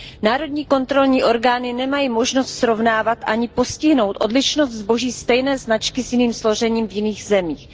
Národní kontrolní orgány nemají možnost srovnávat a ani postihnout odlišnost zboží stejné značky s jiným složením v jiných zemích.